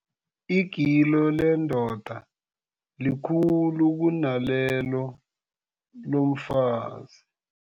Igilo lendoda likhulu kunalelo lomfazi.